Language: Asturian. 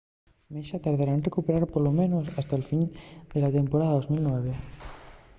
massa tará en recuperación polo menos hasta'l fin de la temporada 2009